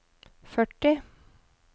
førti